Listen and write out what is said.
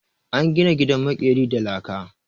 An gina gidan maƙerin da laka.